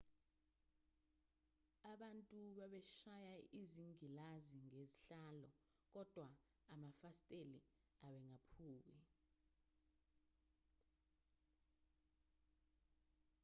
abantu babeshaya izingilazi ngezihlalo kodwa amafasitela abengaphuki